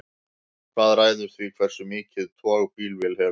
hvað ræður því hversu mikið tog bílvél hefur